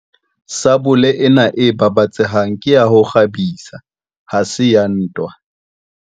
Sabole ena e babatsehang ke ya ho kgabisa ha se ya ntwa.